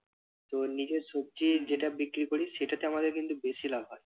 তো নিজের সবজি যেটা বিক্রি করি সেটাতে আমাদের কিন্তু বেশি লাভ হয়।